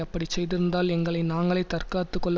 அப்படி செய்திருந்தால் எங்களை நாங்களே தற்காத்து கொள்ள